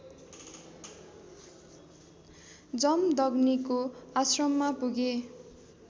जमदग्निको आश्रममा पुगे